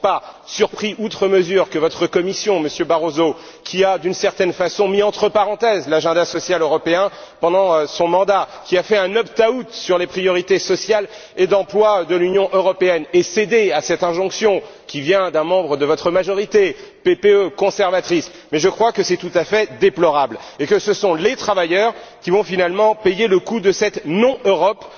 Je ne suis pas surpris outre mesure que votre Commission, Monsieur Barroso, qui a d'une certaine façon mis entre parenthèses l'agenda social européen pendant son mandat, qui a fait un opt out sur les priorités sociales et d'emploi de l'Union européenne et cédé à cette injonction qui vient d'un membre de votre majorité, PPE conservatrice, mais je crois que c'est tout à fait déplorable et que ce sont les travailleurs qui vont finalement payer les coûts de cette non Europe